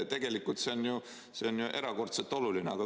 Tegelikult see on ju erakordselt oluline.